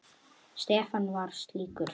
Stefán var slíkur.